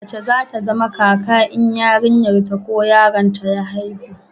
mace za ta zama kaka in yarinyar ta ko yaron ta ya haihu